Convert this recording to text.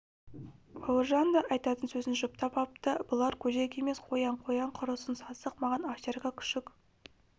бауыржан да айтатын сөзін жұптап апты бұлар көжек емес қоян қоян құрысын сасық маған овчарка күшік